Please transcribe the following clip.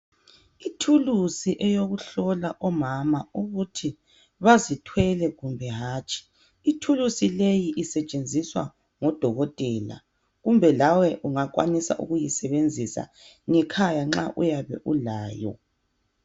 Ithulusi eyokuhlola omama ukuthi bazithwele kumbe hatshi ithulusi leyi isetshenziswa ngodokotela kumbe lawe ungakwanisa ukuyisebenzisa ngekhaya nxa uyabe ulayo.